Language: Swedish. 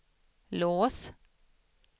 lås